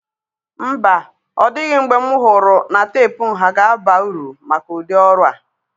Mba, ọ dịghị mgbe m ọhụrụ na teepu nha ga-aba uru maka ụdị ọrụ a